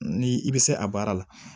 Ni i bɛ se a baara la